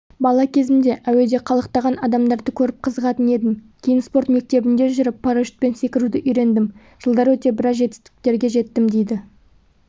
бала кезімде әуеде қалықтаған адамдарды көріп қызығатын едім кейін спорт мектебінде жүріп парашютпен секіруді үйрендім жылдар өте біраз жетістікке жеттім дейді